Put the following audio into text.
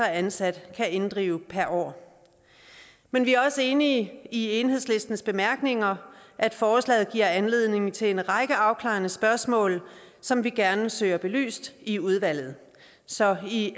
ansat kan inddrive per år men vi er også enige i enhedslistens bemærkninger at forslaget giver anledning til en række afklarende spørgsmål som vi gerne søger belyst i udvalget så i